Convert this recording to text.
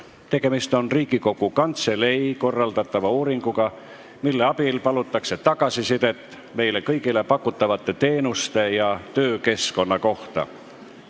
Tegemist on Riigikogu Kantselei korraldatava uuringuga, mille abil palutakse tagasisidet meile kõigile pakutavate teenuste ja töökeskkonna kohta.